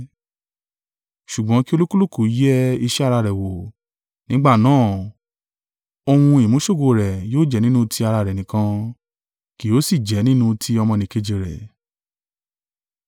Ṣùgbọ́n kí olúkúlùkù yẹ iṣẹ́ ara rẹ̀ wò, nígbà náà, ohun ìmú-ṣogo rẹ̀ yóò jẹ́ nínú ti ara rẹ̀ nìkan, kì yóò sì jẹ nínú ti ọmọnìkejì rẹ̀.